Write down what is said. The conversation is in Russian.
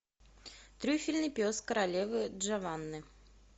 трюфельный пес королевы джованны